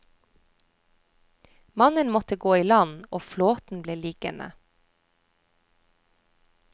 Mannen måtte gå i land, og flåten ble liggende.